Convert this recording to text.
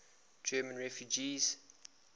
german refugees